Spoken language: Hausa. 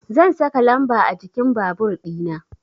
Zan saka lamba a jikin babur dina